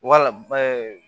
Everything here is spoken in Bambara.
Wala